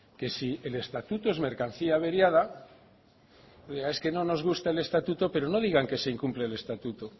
que si el estatuto es mercancía averiada oiga es que no nos gusta el estatuto pero no digan que se incumple el estatuto